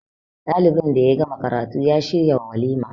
dalinbin da ya gama karatu ya shiryawalima